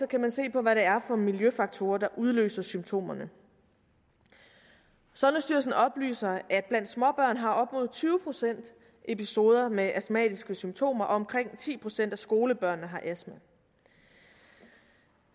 kan man se på hvad det er for miljøfaktorer der udløser symptomerne sundhedsstyrelsen oplyser at blandt småbørn har op mod tyve procent episoder med astmatiske symptomer og omkring ti procent af skolebørnene har astma